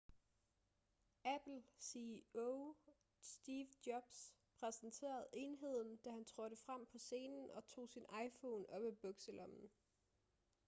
apple ceo steve jobs præsenterede enheden da han trådte frem på scenen og tog sin iphone op af bukselommen